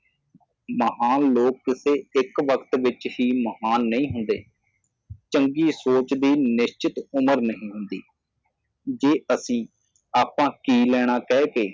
ਮਹਾਨ ਲੋਕ ਕਿਸੇ ਇੱਕ ਵਕਤ ਵਿਚ ਹੀ ਮਹਾਨ ਨਹੀ ਹੁੰਦੇ ਚੰਗੀ ਸੋਚ ਦੀ ਨਿਸ਼ਚਿਤ ਉਮਰ ਨਹੀ ਹੁੰਦੀ ਜੇ ਅਸੀ ਆਪਾਂ ਕਿ ਲੈਣਾ ਕਹਿ ਕੇ